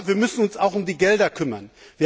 Aber wir müssen uns auch um die Gelder kümmern.